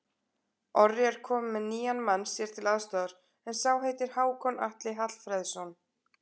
Orri er kominn með nýjan mann sér til aðstoðar, en sá heitir Hákon Atli Hallfreðsson.